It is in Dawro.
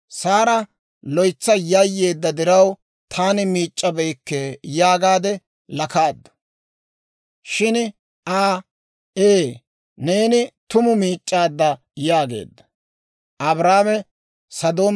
Saara loytsa yayyeedda diraw, «Taani miic'c'abeykke» yaagaade lakaaddu. Shin I, «Ee, neeni tumu miic'c'aadda» yaageedda.